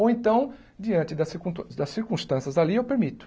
Ou então, diante da circuntân das circunstâncias ali, eu permito.